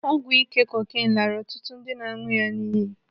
Ọgwụ ike cocaine laara ọtụtụ ndị na-aṅụ ha n'iyi.